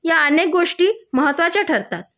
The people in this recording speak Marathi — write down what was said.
या अनेक गोष्टी महत्त्वाच्या ठरतात